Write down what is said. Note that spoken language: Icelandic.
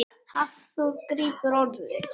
Hafþór grípur orðið.